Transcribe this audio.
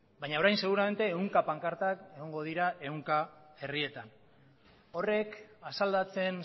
baina orain seguramente ehunka pankarta egongo dira ehunka herrietan horrek asaldatzen